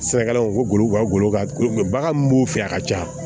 Sɛnɛkɛlaw ko u ka golo ka baganw b'u fɛ a ka ca